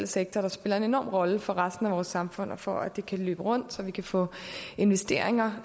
sektor der spiller en enorm rolle for resten af vores samfund og for at det kan løbe rundt så vi kan få investeringer